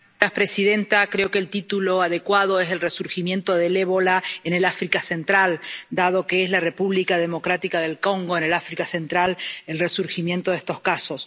Señora presidenta, creo que el título adecuado es el resurgimiento del ébola en el África central, dado que es en la República Democrática del Congo, en el África central, donde han surgido estos casos.